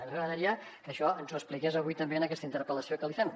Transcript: ens agradaria que això ens ho expliqués avui també en aquesta interpel·lació que li fem